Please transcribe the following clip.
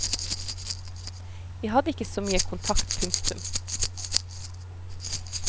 Vi hadde ikke så mye kontakt. punktum